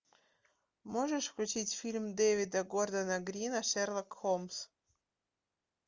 можешь включить фильм дэвида гордона грина шерлок холмс